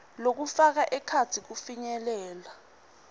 lokufaka ekhatsi kufinyelela